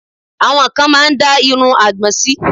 Àwọn kan máá ń dá irun àgbọn sí